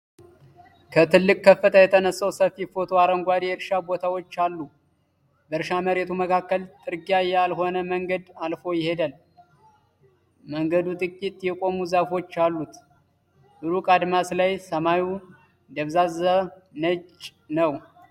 ከትልቅ ከፍታ የተነሳው ሰፊ ፎቶ አረንጓዴ የእርሻ ቦታዎች አሉ። በእርሻ መሬቱ መካከል ጥርጊያ ያልሆነ መንገድ አልፎ ይሄዳል፤ መንገዱ ጥቂት የቆሙ ዛፎች አሉት። ሩቅ አድማስ ላይ ሰማዩ ደብዛዛ ነጭ ነው።